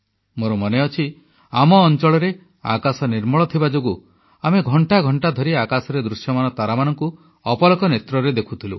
ମୋର ମନେଅଛି ଆମ ଅଂଚଳରେ ଆକାଶ ନିର୍ମଳ ଥିବା ଯୋଗୁଁ ଆମେ ଘଂଟା ଘଂଟା ଧରି ଆକାଶରେ ଦୃଶ୍ୟମାନ ତାରାମାନଙ୍କୁ ଅପଲକ ନେତ୍ରରେ ଦେଖୁଥିଲୁ